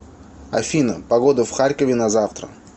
афина погода в харькове на завтра